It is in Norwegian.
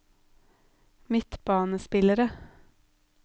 midtbanespillere